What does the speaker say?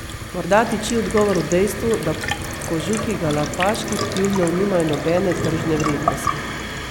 Morda tiči odgovor v dejstvu, da kožuhi galapaških tjulnjev nimajo nobene tržne vrednosti.